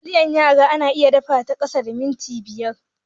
Taliyar yara ana iya dafa ta a kasa da minti biyar.